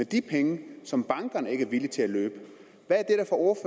de penge som bankerne ikke er villige til at løbe